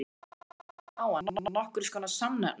Þeir líta á hann sem nokkurs konar samnefnara sinn.